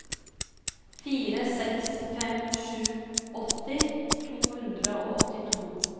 fire seks fem sju åtti to hundre og åttito